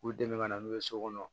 K'u dɛmɛ ka na n'u ye so kɔnɔ